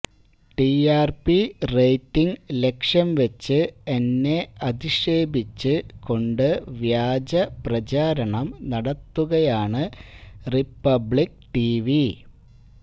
TRP rating ലക്ഷ്യം വച്ച് എന്നെ അധിക്ഷേപിച്ച് കൊണ്ട് വ്യാജ പ്രചാരണം നടത്തുകയാണ് റിപ്പബ്ലിക് ടിവി